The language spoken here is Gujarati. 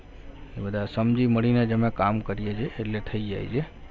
બધા સમજી મળીને જ અમે કામ કરીએ છીએ એટલે થઈ જાય છે.